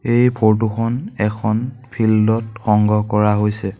এই ফটো খন এখন ফিল্ড ত সংগ্ৰহ কৰা হৈছে।